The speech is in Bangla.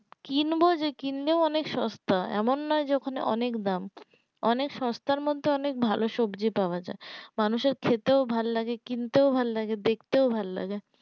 কিনবো যে কিনলেও অনেক সস্তা এমন নয় যে ওখানে অনেক দাম অনেক সস্তার মধ্যে অনেক ভালো সবজি পাওয়া মানুষের খেতে ভাল্লাগে কিনতে ও ভাল্লাগে দেখতেও ভাল্লাগে